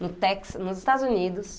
No Texas, nos Estados Unidos.